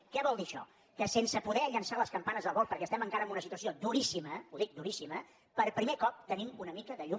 què vol dir això que sense poder llançar les campanes al vol perquè estem encara en una situació duríssima ho dic duríssima per primer cop tenim una mica de llum